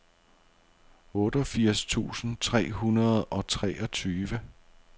otteogfirs tusind tre hundrede og treogtyve